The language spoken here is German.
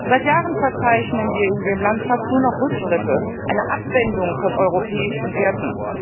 Seit Jahren verzeichnen wir in dem Land fast nur noch Rückschritte, eine Abwendung von europäischen Werten.